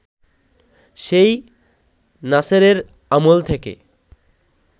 সেই নাসেরের আমল থেকে